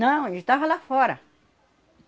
Não, ele estava lá fora.